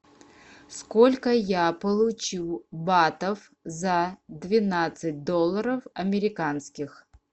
сколько я получу батов за двенадцать долларов американских